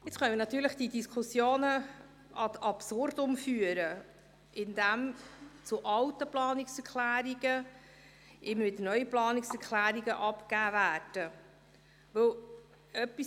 Jetzt kann man diese Diskussionen natürlich ad absurdum führen, indem zu alten Planungserklärungen immer wieder neue Planungserklärungen abgegeben werden.